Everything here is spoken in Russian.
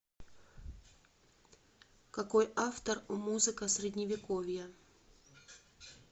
какой автор у музыка средневековья